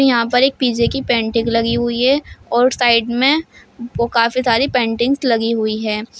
यहां पर एक पीजे की पेंटिंग लगी हुई है और साइड मे काफी सारी पेंटिंग्स लगी हुई है।